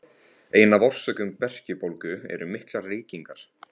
Ein af orsökum berkjubólgu eru miklar reykingar.